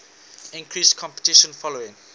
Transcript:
increased competition following